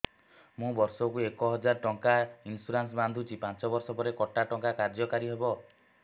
ମୁ ବର୍ଷ କୁ ଏକ ହଜାରେ ଟଙ୍କା ଇନ୍ସୁରେନ୍ସ ବାନ୍ଧୁଛି ପାଞ୍ଚ ବର୍ଷ ପରେ କଟା ଟଙ୍କା କାର୍ଯ୍ୟ କାରି ହେବ